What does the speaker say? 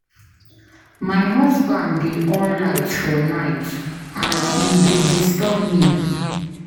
My husband dey on light for night and e dey disturb me.